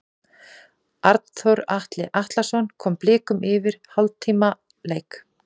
Arnþór Ari Atlason kom Blikum yfir eftir hálftíma leik.